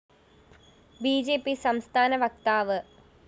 B J P സംസ്ഥാന വക്താവ് V